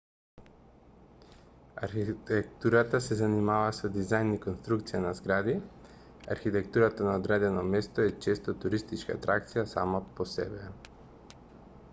архитектурата се занимава со дизајн и конструкција на згради архитектурата на одредено место е често туристичка атракција сама по себе